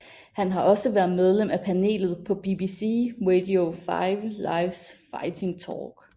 Han har også været medlem af panelet på BBC Radio 5 Lives Fighting Talk